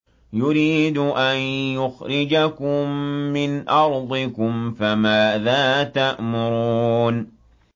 يُرِيدُ أَن يُخْرِجَكُم مِّنْ أَرْضِكُمْ ۖ فَمَاذَا تَأْمُرُونَ